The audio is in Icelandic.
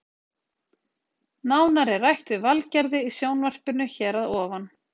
Nánar er rætt við Valgerði í sjónvarpinu hér að ofan.